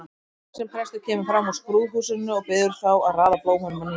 Lágvaxinn prestur kemur fram úr skrúðhúsinu og biður þá að raða blómunum að nýju.